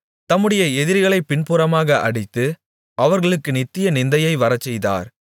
தம்முடைய எதிரிகளைப் பின்புறமாக அடித்து அவர்களுக்கு நித்திய நிந்தையை வரச்செய்தார்